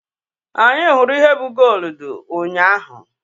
Anyị hụrụ ihe bụ gooludu ụnyaahụ.